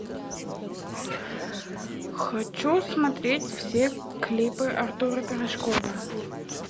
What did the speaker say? хочу смотреть все клипы артура пирожкова